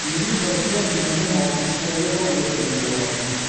ерлі зайыптылар екі мың алтыншы жылы отау көтерген болатын